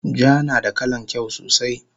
Ja nada kalan kyau sosai